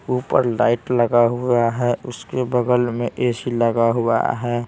ऊपर लाइट लगा हुआ हैं उसके बगल में एसी लगा हुआ हैं।